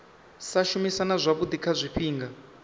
sa shumisana zwavhui kha zwifhinga